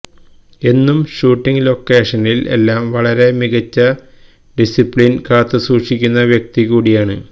എന്നും ഷൂട്ടിംഗ് ലൊക്കേഷനിൽ എല്ലാം വളരെ മികച്ച ഡിസിപ്ലിൻ കാത്തുസൂക്ഷിക്കുന്ന വ്യക്തികൂടിയാണ്